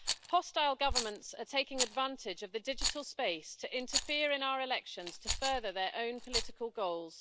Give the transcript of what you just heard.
Hostile governments are taking advantage of the digital space to interfere in our elections to further their own political goals.